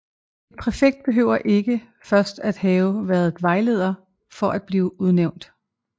En præfekt behøver ikke først at have været vejleder for at blive udnævnt